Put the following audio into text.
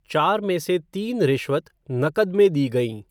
चार में से तीन रिश्वत नकद में दी गई।